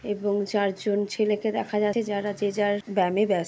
এবং চারজন ছেলেকে দেখা যাচ্ছে যারা যে যার ব্যামে ব্যস--